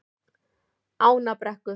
Ánabrekku